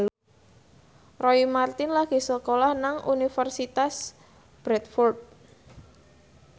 Roy Marten lagi sekolah nang Universitas Bradford